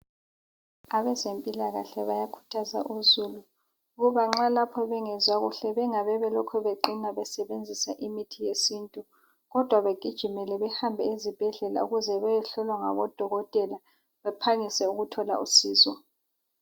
Abezempilakahle bayakhuthaza uzulu ukuba nxa lapho bengezwa kuhle bangabe belokhu beqina besebenzisa imithi yesintu kodwa begijimele behanbe ezibhedlela ukuze beyehlolwa ngabodokotela baphangise ukuthola usizo.